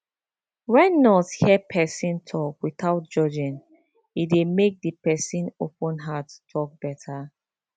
when nurse hear person talk without judging e dey make the the person open heart talk better